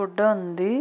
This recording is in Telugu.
గుడ్డ ఉంది